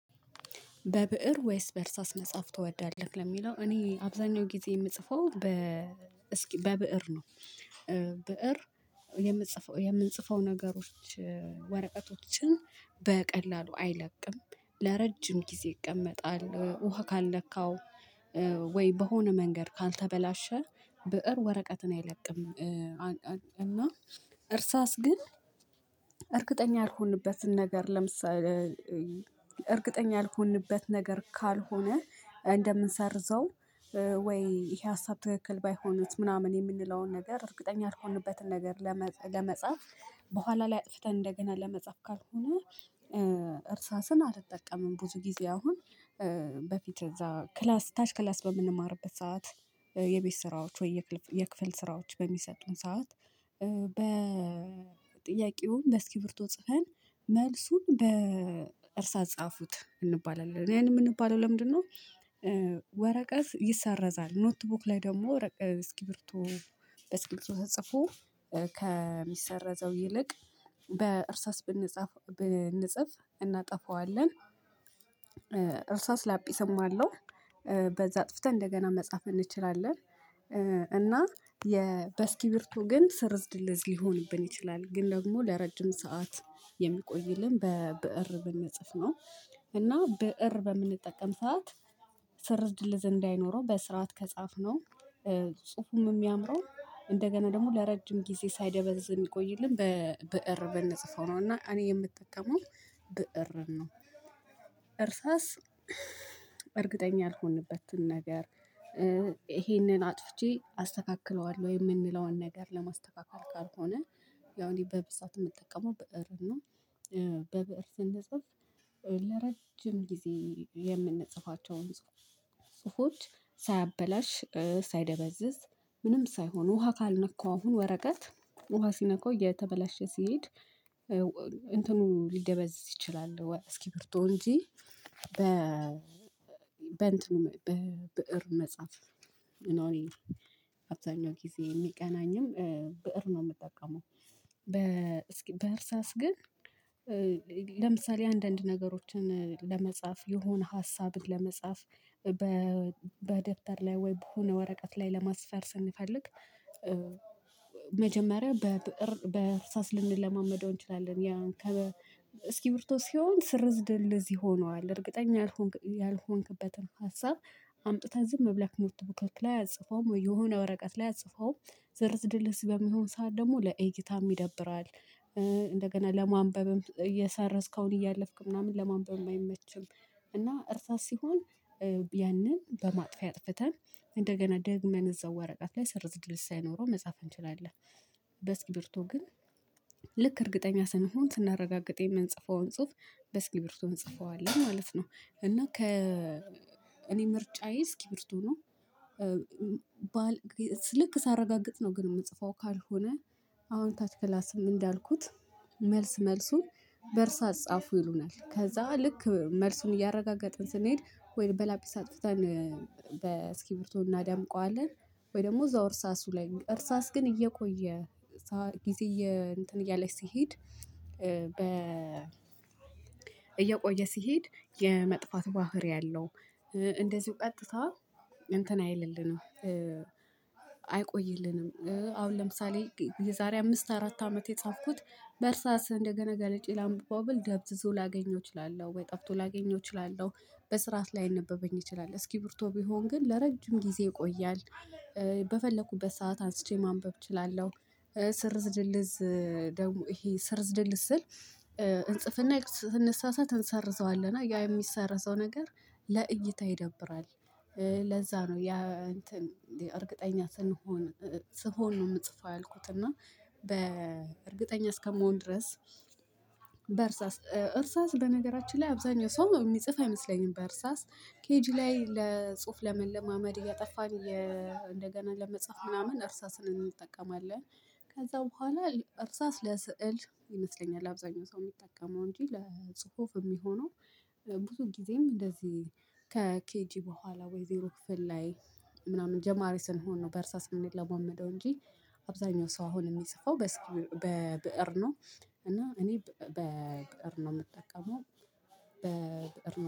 በብእር ወይስ በእርሳስ መጽሐፍ ትወዳለህ? ለሚለው እኔ አብዛኛው ጊዜ የምጽፈው በብእር ነው። ብእር የምንጽፈው የምንጽፈው ነገሮች ወረቀቶችን በቀላሉ አይለቅም ለረጅም ጊዜ ይቀመጣል ውሃ ካልለካው ወይ በሆነ መንገድ ካልተበላሸ ብእር ወረቀትን አይለቅም። እና እርሳስ ግን እርግጠኛ ያልሆንበትን ነገር ለምሳሌ እርግጠኛ ያልሆንበት ነገር ካልሆነ እንደምንሰርዘው ወይ ይሄ ሀሳብ ትክክል ባይሆንስ ምናምን የምንለውን ነገር እርግጠኛ ያልሆንበትን ነገር ለመጻፍ በኋላ ላይ አጥፍተን እንደገና ለመጻፍ ካልሆነ እርሳስን አልጠቀምም። ብዙ ጊዜ አሁን በፊት እዛ ክላስ ታች ክላስ በምንማርበት ሰዓት የቤት ስራዎች ወይ የክፍል ስራዎች በሚሰጡን ሰዓት በጥያቄው በእስኪብርቶ ጽፈን መልሱን በእርሳ ጻፉት እንባላለን ያን የምንባለው ለምንድነው? ወረቀት ይሰረዛል ኖትቡክ ላይ ደግሞ እስኪብርቶ በስክሪፕቶ ተጽፎ ከሚሰረዘው ይልቅ በእርሳስ ብንጻፍ ብንጽፍ እናጠፋዋለን እርሳስ ላጲስም አለው በዛ አጥፍተን እንደገና መጻፍ እንችላለን። እና የበስኪብርቶ ግን ስርዝድልዝ ሊሆንብን ይችላል ግን ደግሞ ለረጅም ሰዓት የሚቆይልን በብእር ብንጽፍ ነው። እና ብእር በምንጠቀም ሰዓት ስርዝድል እንዳይኖረው በስርዓት ከጻፍነው ጽሁፉም የሚያምረው እንደገና ደግሞ ለረጅም ጊዜ ሳይደበዝዝ የሚቆይልን በብእር ብንጽፈው ነው እና እኔ የምጠቀመው ብእር ነው። እርሳስ በእርግጠኛ ያልሆንበትን ነገር ይሄንን አጥፍቼ አስተካክለዋለሁ የምንለዋን ነገር ለማስተካከል ካልሆነ ያው እኔ በብዛት የምጠቀመው ብእር ነው። በብእር ስንጽፍ ለረጅም ጊዜ የምንጽፋቸውን ጽፎች ሳያበላሽ ሳይደበዝዝ ምንም ሳይሆን ውሃ ካልነካው አሁን ወረቀት ውሃ ሲነካው እየተበላሸ ሲሄድ እንትኑ ሊደበዝ ይችላል። እስኪብርቶ እንጂ በ በእንትኑ በብእር መጽሐፍ እና እኔ አብዛኛው ጊዜ የሚቀናኝም ብእር ነው የምጠቀመው በ በእርሳስ ግን ለምሳሌ አንዳንድ ነገሮችን ለመጻፍ የሆነ ሀሳብን ለመጻፍ በደብተር ላይ ወይ በሆነ ወረቀት ላይ ለማስፈር ስንፈልግ መጀመሪያ በብእር በእርሳስ ልንለማመደው እንችላለን። ያ እስኪብርቶ ሲሆን ስርዝድል ይሆነዋል እርግጠኛ ያልሆንክበትን ሀሳብ አምጥትን ዝም ብለክ ኖትቡክ ላይ አጽፈውም የሆነ ወረቀት ላይ አጽፈውም ስርዝድል በሚሆን ሰዓት ደግሞ ለእይታም ይደብራል እንደገና ለማንበብም እየሰረዝክ አሁን እያለፍክ ምናምን ለማንበብ አይመችም እና እርሳስ ሲሆን ያንን በማጥፊያ አጥፍተን እንደገና ደግመን እዛው ወረቀት ላይ ስርዝድልዝ ሳይኖረው መጻፍ እንችላለን። በስኪብርቶ ግን ልክ እርግጠኛ ስንሆን ስናረጋግጥ የምንጽፈውን ጽሁፍ በስኪብርቶ እንጽፈዋለን ማለት ነው። እና ከ እኔ ምርጫዬ እስኪብርቶ ነው። ልክ ሳረጋግጥ ነው ግን የምጽፈው ካልሆነ አሁን ታች ክላስም እንዳልኩት መልስ መልሱን በእርሳት ጻፉ ይሉናል ከዛ ልክ መልሱን እያረጋገጥን ስንሄድ ወይም በላጲስ አጥፍተን እስኪብርቶ እናዳምቀዋለን ወይ ደግሞ እዛው እርሳሱ ላይ እርሳስ ግን እየቆየ ጊዜ እንትን እያለ ስሄድ እየቆየ ሲሄድ የመጥፋት ባህሪ አለው። እንደዚሁ ቀጥታ እንትን አይልልንም አይቆይልንም አሁን ለምሳሌ የዛሬ አምስት አራት አመት የጻፍኩት በእርሳስ እንደገና ገልጬ ላምብበው ብል ደብዝዞ ላገኘው እችላለሁ ወይ ጠፍቶ ላገኘው እችላለሁ በስርዓት ላይነበበኝ እችላለሁ እስኪብርቶ ቢሆን ግን ለረጅም ጊዜ ይቆያል። በፈለኩበት ሰዓት አንስቼ ማንበብ እችላለሁ። ስርዝድልዝ ደግሞ ይሄ ስርዝድል ስል እንጽፍና ስንሳሳት እንሰርዘዋለህ እና ያ የሚሰርዘው ነገር ለእይታ ይደብራል። ለዛ ነው ያ እንትን እንዴ እርግጠኛ ስንሆን ስንሆን ነው የምጽፈው ያልኩት እና በእርግጠኛ እስከምሆን ድረስ በእርሳስ እርሳስ በነገራችን ላይ አብዛኛው ሰው የሚጽፍ አይመስለኝም በእርሳስ ኬጂ ላይ ለጽሁፍ ለመለማመድ እያጠፋን እንደገና ለመጻፍ ምናምን እርሳስን እንጠቀማለን። ከዛ በኋላ እርሳስ ለስዕል ይመስለኛል። አብዛኛው ሰው የሚጠቀመው እንጂ ለጽሁፍ የሚሆነው ብዙ ጊዜም እንደዚህ ከኬጂ በኋላ ወይ ዜሮ ክፍል ላይ ምናምን ጀማሪ ስንሆን ነው በእርሳ የምንለማመደው እንጂ አብዛኛው ሰው አሁን የሚፅፈው በብእር ነው። እና እኔ በብእር ነው የምጠቀመው በብእር